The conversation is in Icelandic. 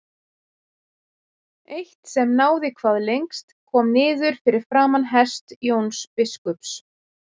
Eitt sem náði hvað lengst kom niður fyrir framan hest Jóns biskups.